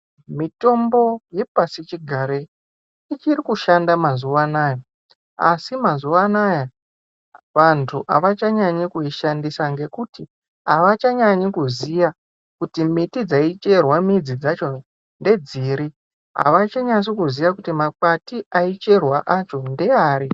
Mitombo yepashi chigarei ichiri kushanda mazuwa anaya asi mazuwa anaya vantu avachanyanyi kuishandisa ngekuti avachanyanyi kuziya kuti miti dzaicherwa midzi dzachona ndedziri avachanasi kuziya kuti makwati aicherwa acho ndeari.